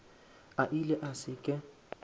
a ile a se ke